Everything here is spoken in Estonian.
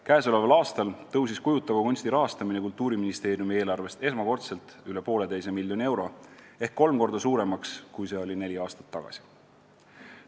Käesoleval aastal kasvas kujutava kunsti rahastamine Kultuuriministeeriumi eelarvest esmakordselt üle 1,5 miljoni euro ehk kolm korda suuremaks, kui see oli neli aastat tagasi.